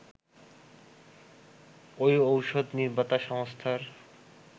ওই ওষুধ নির্মাতা সংস্থার